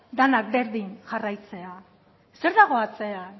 dena berdin jarraitzea zer dago atzean